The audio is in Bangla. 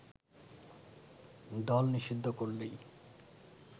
দল নিষিদ্ধ করলেই